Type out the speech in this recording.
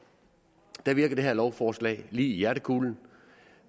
og der virker det her lovforslag lige i hjertekulen